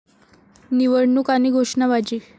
निवडणूक आणि घोषणाबाजी